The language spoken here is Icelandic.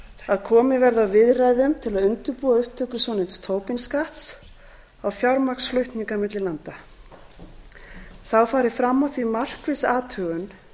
að komið verði á viðræðum til að undirbúa upptöku svonefnds tobin skatts á fjármagnsflutninga milli landa þá fari fram á því markviss athugun